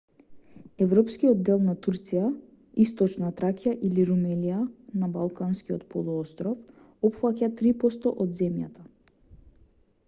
европскиот дел на турција источна тракија или румелија на балканскиот полуостров опфаќа 3 % од земјата